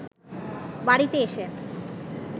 বাড়িতে এসে